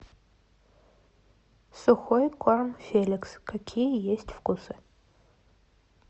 сухой корм феликс какие есть вкусы